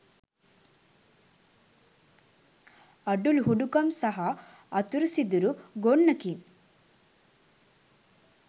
අඩුලුහුඬුකම් සහ අතුරුසිදුරු ගොන්නකින්